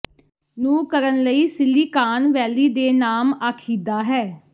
ਨੂੰ ਕਰਨ ਲਈ ਸਿਲੀਕਾਨ ਵੈਲੀ ਦੇ ਨਾਮ ਆਖੀਦਾ ਹੈ